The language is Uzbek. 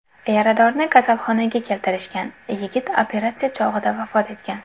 Yaradorni kasalxonaga keltirishgan, yigit operatsiya chog‘ida vafot etgan.